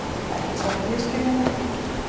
Ekki samt misskilja mig.